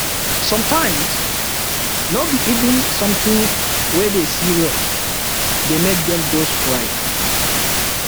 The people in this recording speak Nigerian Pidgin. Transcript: sometimes no be even sometin we dey serious dey make dem go strike